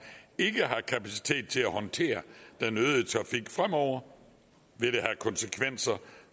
ikke har kapacitet til at håndtere den øgede trafik fremover vil det have konsekvenser